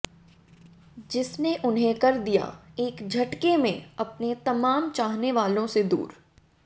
जिसने उन्हें कर दिया एक झटके में अपने तमाम चाहने वालों से दूर